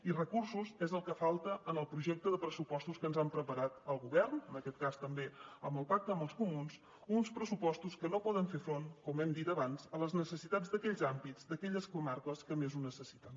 i recursos és el que falta en el projecte de pressupostos que ens ha preparat el govern en aquest cas també amb el pacte amb els comuns uns pressupostos que no poden fer front com hem dit abans a les necessitats d’aquells àmbits d’aquelles comarques que més ho necessiten